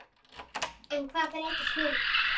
En hvað breytist núna?